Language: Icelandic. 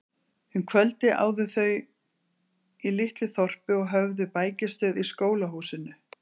Um kvöldið áðu þau í litlu þorpi og höfðu bækistöð í skólahúsinu.